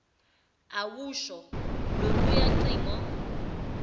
awusho loluya cingo